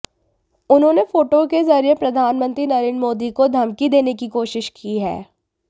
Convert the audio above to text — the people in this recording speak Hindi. उन्होंने फोटो के जरिए प्रधानमंत्री नरेंद्र मोदी को धमकी देने की कोशिश की है